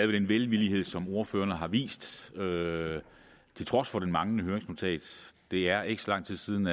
den velvillighed som ordførerne har vist til trods for det manglende høringsnotat det er ikke så lang tid siden